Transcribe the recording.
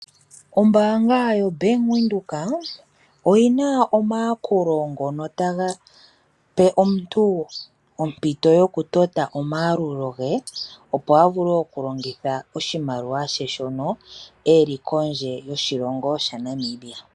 Ombaanga yo bank Windhoek oyina omayakulo ngono taga pe omuntu ompito yokutota omayalulo ge opo a vule okulongitha oshimaliwa she shono e li kondje yoshilongo ShaNamibia.